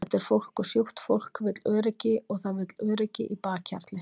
Þetta er fólk og sjúkt fólk vill öryggi og það vill öryggi í bakhjarli.